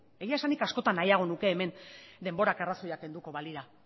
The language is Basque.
egia esan nik askotan nahiago nuke hemen denborak arrazoiak kenduko balira